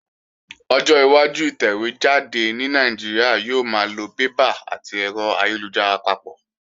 Ọjọ́ iwájú ìtẹ̀wé jáde ní Nàìjíríà yóò máa lo bébà àti ẹ̀rọ ayélujára papọ̀